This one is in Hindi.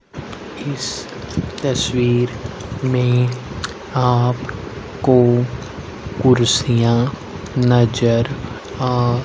इस तस्वीर मे आपको कुर्सियां नजर आ--